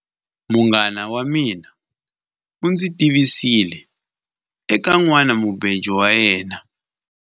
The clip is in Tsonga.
Munghana wa mina u ndzi tivisile eka nhwanamubejo wa yena.